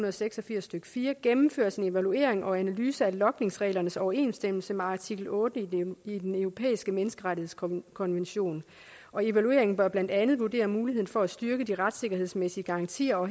og seks og firs stykke fire gennemføres en evaluering og en analyse af logningsreglernes overensstemmelse med artikel otte i den europæiske menneskerettighedskonvention og evalueringen bør blandt andet vurdere muligheden for at styrke de retssikkerhedsmæssige garantier og